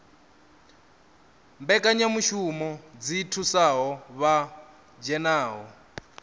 mbekanyamushumo dzi thusaho vha dzhenaho